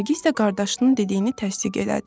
Nərgiz də qardaşının dediyini təsdiq elədi.